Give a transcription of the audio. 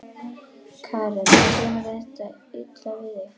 Karen: Kemur þetta illa við þig?